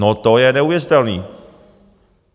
No, to je neuvěřitelné.